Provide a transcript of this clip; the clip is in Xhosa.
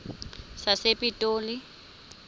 sasepitoli